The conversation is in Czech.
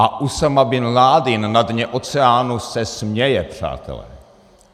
A Usáma bin Ládin na dně oceánu se směje, přátelé.